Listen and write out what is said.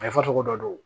cogo dɔ do